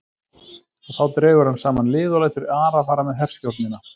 Og þá dregur hann saman lið og lætur Ara fara með herstjórnina.